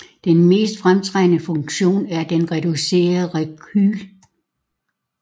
Den mest fremtrædende funktion er den reducerede rekyl